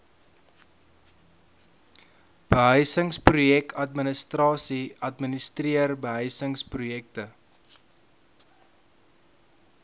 behuisingsprojekadministrasie administreer behuisingsprojekte